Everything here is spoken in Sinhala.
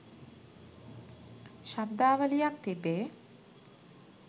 ශබ්දාවලියක් තිබේ.